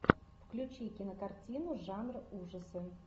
включи кинокартину жанр ужасы